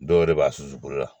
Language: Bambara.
Dɔw yɛrɛ b'a susu bolo la